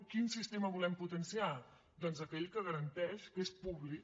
quin sistema volem potenciar doncs aquell que garanteix que és públic